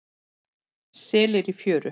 Selir í fjöru.